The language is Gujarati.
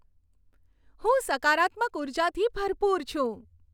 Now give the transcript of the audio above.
હું સકારાત્મક ઉર્જાથી ભરપૂર છું.